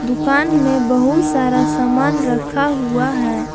दुकान में बहुत सारा सामान रखा हुआ है।